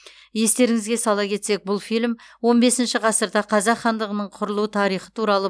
естеріңізге сала кетсек бұл фильм он бесінші ғасырда қазақ хандығының құрылу тарихы туралы